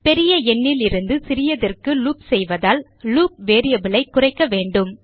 பெரிய எண்ணிலிருந்து சிறியதிற்கு லூப் செய்வதால் லூப் variable ஐ குறைக்க வேண்டும்